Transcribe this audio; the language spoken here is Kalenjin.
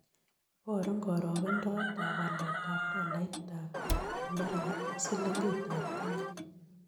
Iborun karogendoetap waletap tolaitap amerika ak sillingiitap kenya